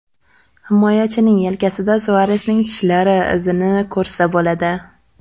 Himoyachining yelkasida Suaresning tishlari izini ko‘rsa bo‘ladi.